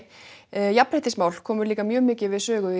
jafnréttismál komu mikið við sögu